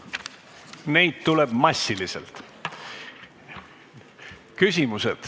Küsimusi tuleb massiliselt.